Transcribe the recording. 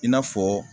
I n'a fɔ